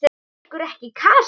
Var ykkur ekki kalt?